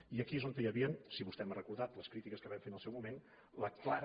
i aquí és on hi havia si vostè m’ha recordat les crítiques que vam fer en el seu moment la clara